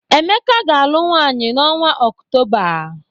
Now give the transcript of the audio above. Emeka ga-alụ nwaanyị n’ọnwa Okutoba.